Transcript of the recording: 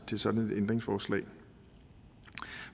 til sådan et ændringsforslag